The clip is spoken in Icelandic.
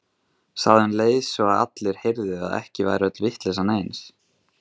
Sagði um leið svo að allir heyrðu að ekki væri öll vitleysan eins.